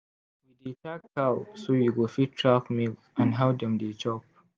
we dey tag cow so we go fit track milk and how dem dey chop.